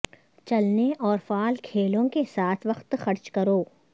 چلنے اور فعال کھیلوں کے ساتھ وقت خرچ کرو